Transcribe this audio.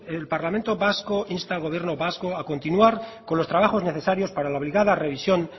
el parlamento vasco insta al gobierno vasco a continuar con los trabajos necesarios para la obligada revisión